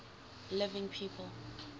living people